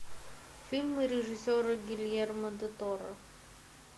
фильмы режиссера гильермо дель торо